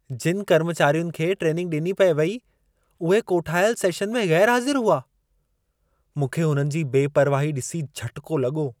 जिनि कर्मचारियुनि खे ट्रेनिंग ॾिनी पिए वेई, उहे कोठायल सेशन में ग़ैरु हाज़िरु हुआ। मूंखे हुननि जी बेपरवाही ॾिसी झटिको लॻो।